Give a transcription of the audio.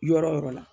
Yɔrɔ yɔrɔ la